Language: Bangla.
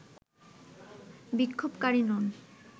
বিক্ষোভকারী নন